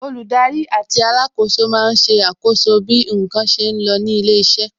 Olùdarí àti alákòóso máa ń ṣe àkọ́so bí n kan ṣe lọ ní ilé iṣẹ́